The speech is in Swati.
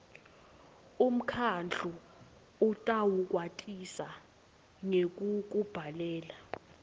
umkhandlu utawukwatisa ngekukubhalela